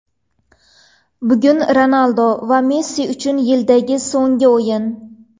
Bugun Ronaldu va Messi uchun yildagi so‘nggi o‘yin.